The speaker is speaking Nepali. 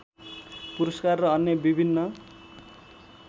पुरस्कार र अन्य विभिन्न